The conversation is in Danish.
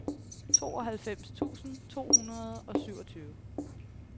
tooghalvfems tusind to hundrede og syvogtyve